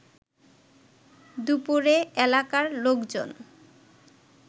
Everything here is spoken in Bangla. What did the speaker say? দুপুরে এলাকার লোকজন